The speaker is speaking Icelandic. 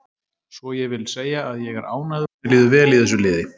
Svo ég vil segja að ég er ánægður og mér líður vel í þessu liði.